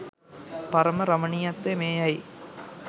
පරම රමණීයත්වය මේ යැයි